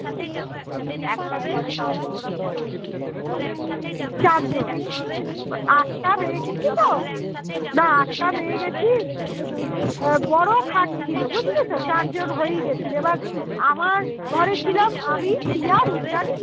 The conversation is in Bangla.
আহ বড় খাট ছিল বুঝলি তো চার জন হয়েই গেছিলো এবার আমার ঘরে ছিলাম আমি প্রিয়া রুদ্রানী